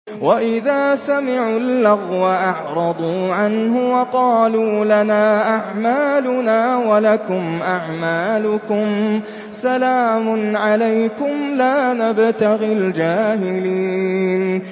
وَإِذَا سَمِعُوا اللَّغْوَ أَعْرَضُوا عَنْهُ وَقَالُوا لَنَا أَعْمَالُنَا وَلَكُمْ أَعْمَالُكُمْ سَلَامٌ عَلَيْكُمْ لَا نَبْتَغِي الْجَاهِلِينَ